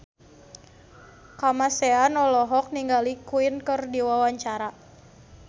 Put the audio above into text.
Kamasean olohok ningali Queen keur diwawancara